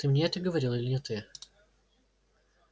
ты мне это говорил или не ты